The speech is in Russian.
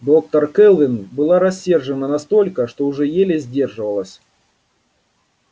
доктор кэлвин была рассержена настолько что уже еле сдерживалась